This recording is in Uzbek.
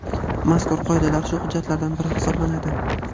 mazkur Qoidalar shu hujjatlardan biri hisoblanadi.